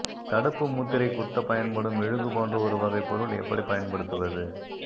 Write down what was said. தடுப்பு முத்திரை குத்தப் பயன்படும் மெழுகு போன்ற ஒரு வகைப் பொருள் எப்படி பயன்படுத்துவது